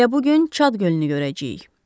Elə bu gün Çad gölünü görəcəyik.